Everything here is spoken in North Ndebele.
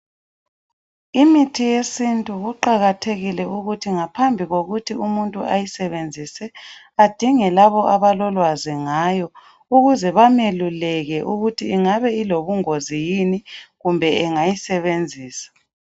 Imithi yesintu kuqakathekile ukuthi ngaphambi kokuthi umuntu ayisebenzise adinge laba abalolwazi ngayo ukuze bameluleke ukuthi ingabe ilobungozi yini kumbe engayisebenzisa.